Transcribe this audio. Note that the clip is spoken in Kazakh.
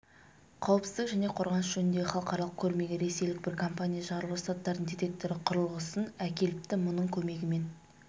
қауіпсіздік және қорғаныс жөніндегі халықаралық көрмеге ресейлік бір компания жарылғыш заттардың детекторы құрылғысын әкеліпті мұның көмегімен